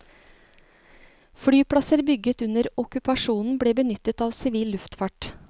Flyplasser bygget under okkupasjonen ble benyttet av sivil luftfart.